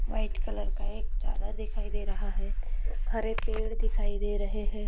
White colour का एक चादर दिखाई दे रहा है हरे पेड़ दिखाई दे रहे है।